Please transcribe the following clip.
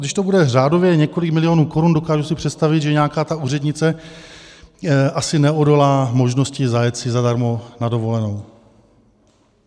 Když to bude řádově několik milionů korun, dokážu si představit, že nějaká ta úřednice asi neodolá možnosti zajet si zadarmo na dovolenou.